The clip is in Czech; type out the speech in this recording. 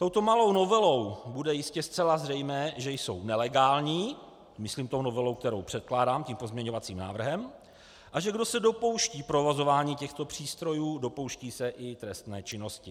Touto malou novelou bude jistě zcela zřejmé, že jsou nelegální - myslím tou novelou, kterou předkládám, tím pozměňovacím návrhem - a že kdo se dopouští provozování těchto přístrojů, dopouští se i trestné činnosti.